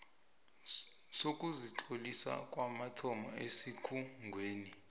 sokuzitlolisa kwamathomo esikhungweni